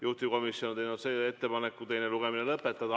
Juhtivkomisjon on teinud ettepaneku teine lugemine lõpetada.